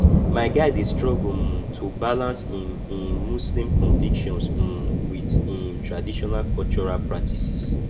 my guy dey struggle um to balance im im muslim convictions um wit im traditional cultural practices